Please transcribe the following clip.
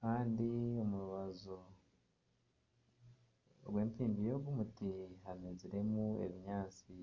kandi omu rubaju rw'empimbi y'ogu muti hameziremu ebinyaatsi